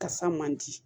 Kasa man di